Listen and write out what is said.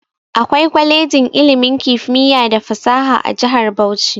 Akwai kwalejin ilimin kimiyya da fasaha a jihar Bauchi.